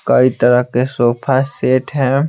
कई तरह के सोफा सेट हैं।